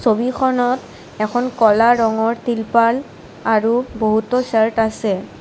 ছবিখনত এখন ক'লা ৰঙৰ তিলপাল আৰু বহুতো চাৰ্ত আছে।